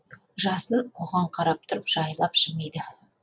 жасын оған қарап тұрып жайлап жымиды